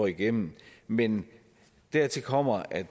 igennem men dertil kommer at